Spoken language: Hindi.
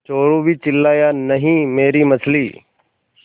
चोरु भी चिल्लाया नहींमेरी मछली